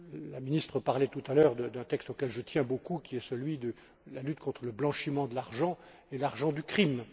La ministre parlait tout à l'heure d'un texte auquel je tiens beaucoup, qui est celui de la lutte contre le blanchiment d'argent et l'argent du crime.